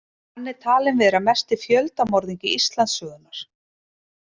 Hann er talinn vera mesti fjöldamorðingi Íslandssögunnar.